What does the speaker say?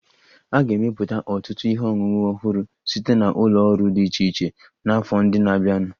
A ga-emepụta ọtụtụ ihe ọṅụṅụ ọhụrụ site na ụlọ ọrụ dị iche iche n'afọ ndị na-abịanụ